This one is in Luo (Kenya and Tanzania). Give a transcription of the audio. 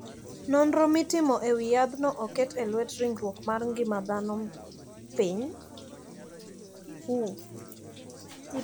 Nonro mitimo e wi yadhno oket e lwet riwruok mar ngima dhano piny ngima WHO.